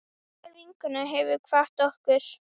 Kær vinkona hefur kvatt okkur.